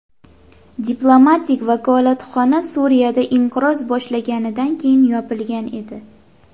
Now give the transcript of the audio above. Diplomatik vakolatxona Suriyada inqiroz boshlanganidan keyin yopilgan edi.